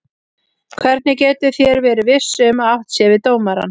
Hvernig getið þér verið viss um að átt sé við dómarann?